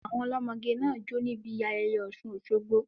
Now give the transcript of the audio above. Àwọn ọlọ́mọge náà jó níbi ayẹyẹ Ọ̀ṣun-Òsogbo.